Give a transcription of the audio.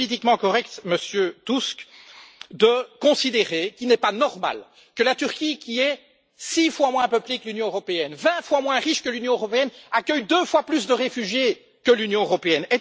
Est ce politiquement correct, Monsieur Tusk, de considérer qu'il n'est pas normal que la Turquie, qui est six fois moins peuplée que l'Union européenne, vingt fois moins riche que l'Union européenne, accueille deux fois plus de réfugiés que l'Union européenne?